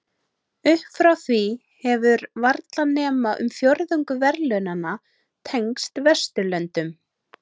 Upp frá því hefur varla nema um fjórðungur verðlaunanna tengst Vesturlöndum.